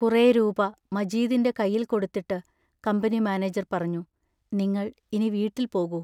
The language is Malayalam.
കുറേ രൂപാ മജീദിന്റെ കൈയിൽ കൊടുത്തിട്ട് കമ്പനി മാനേജർ പറഞ്ഞു: നിങ്ങൾ ഇനി വീട്ടിൽ പോകൂ.